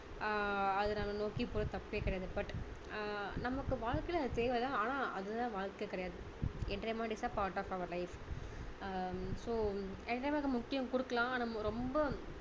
ஆஹ் அதை நம்ம நோக்கிபோறது தப்பே கிடையாது but அஹ் நமக்கு வாழ்க்கையில அது தேவை தான் ஆனா அது தான் வாழ்க்கை கிடையாது entertainment is the part of our life uh so entertainment க்கு முக்கியம் கொடுக்கலாம் ஆனா ரொம்ப